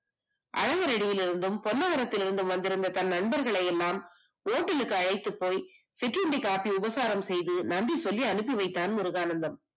அரவணடியிலிருந்தும் நந்தவனத்தில் இருந்து வந்திருந்த தண்டங்களை எல்லாம் ஓட்டலுக்கு அழைத்து போய் சிற்றுண்டி காப்பி உபசாரம் செய்து நன்றி சொல்லி அனுப்பி வைத்தான் முருகானந்தம்